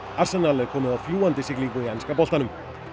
er komið á fljúgandi siglingu í enska boltanum